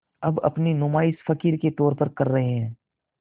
अब अपनी नुमाइश फ़क़ीर के तौर पर कर रहे हैं